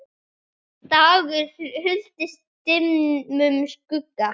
dagur huldist dimmum skugga